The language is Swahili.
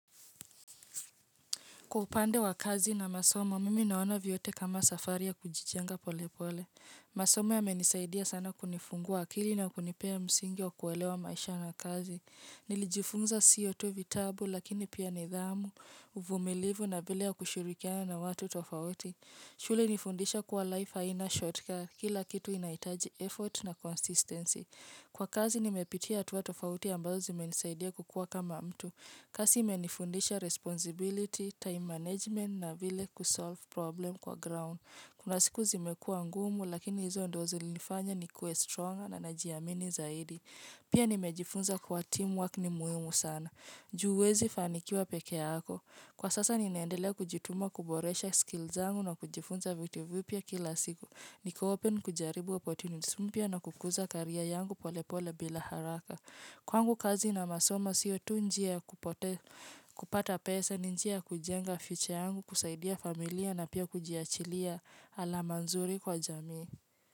Kwa upande wa kazi na masomo, mimi naona vyote kama safari ya kujijenga pole pole. Masomo yamenisaidia sana kunifungua akili na kunipea msingi wa kuelewa maisha na kazi. Nilijifunza sio tu vitabu lakini pia nidhamu, uvumilivu na vile ya kushurikiana na watu tofauti. Shule ilinifundisha kuwa life haina, shortcut, kila kitu inaitaji effort na consistency. Kwa kazi nimepitia hatua tofauti ambazo zimenisaidia kukua kama mtu. Kazi imenifundisha responsibility, time management na vile kusolve problem kwa ground. Kuna siku zimekua ngumu lakini hizo ndo zilinifanya ni kue strong na najiamini zaidi. Pia nimejifunza kuwa team work ni muhimu sana. Juu huwezi fanikiwa pekeako. Kwa sasa ninaendelea kujituma kuboresha skills zangu na kujifunza vitu vipya kila siku. Niko open kujaribu opportunities mpya na kukuza career yangu pole pole bila haraka. Kwangu kazi na masomo sio tu njia kupata pesa, njia kujenga future yangu, kusaidia familia na pia kujiachilia alama nzuri kwa jamii.